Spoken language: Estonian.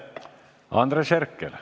Andres Herkel.